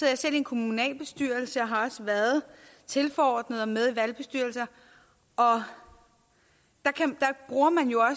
jeg selv i en kommunalbestyrelse og har også været tilforordnet og med i valgbestyrelser og der bruger man jo